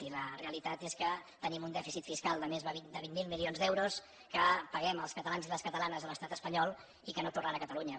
i la realitat és que tenim un dèficit fiscal de més vint miler milions d’euros que paguem els catalans i les catalanes a l’estat espanyol i que no tornen a catalunya